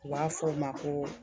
U b'a fɔ o ma ko